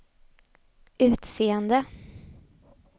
utseende